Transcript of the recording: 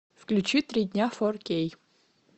включи три дня фор кей